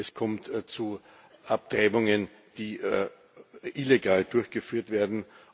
Es kommt zu Abtreibungen, die illegal durchgeführt werden.